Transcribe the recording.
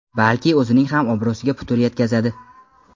balki o‘zining ham obro‘siga putur yetkazadi.